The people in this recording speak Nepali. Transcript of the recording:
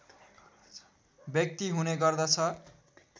व्यक्ति हुने गर्दछ